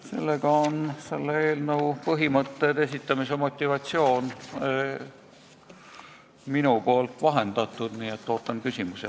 Sellega on selle eelnõu põhimõtted ja esitamise motivatsioon vahendatud, ootan küsimusi.